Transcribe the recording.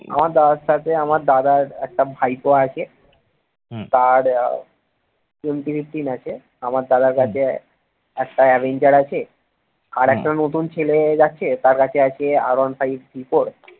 আমার দাদার সাথে আমার দাদার একটা ভাইপো আছে তার আছে আমার দাদার কাছে একটা অ্যাভেঞ্জার আছে আর একটা নতুন ছেলে যাচ্ছে তার কাছে আছে r one five three four